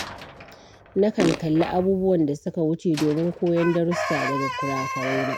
Nakan kalli abubuwan da suka wuce domin koyon darussa daga kura-kuraina.